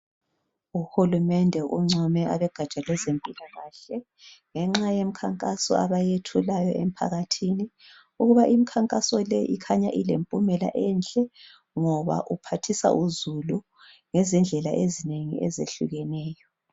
Uhulumende ungcome abogatsha kwezempilakahle ngemikhankaso abayithathayo emphakathini. Ukuba imkhankaso le ikhanya ilempumela enhle ngoba iphathisa uzulu ngezindlela ezinengi ezehlukeneyo.